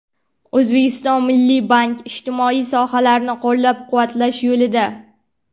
O‘zbekiston Milliy banki ijtimoiy sohalarni qo‘llab-quvvatlash yo‘lida.